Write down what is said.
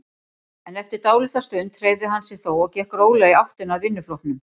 En eftir dálitla stund hreyfði hann sig þó og gekk rólega í áttina að vinnuflokknum.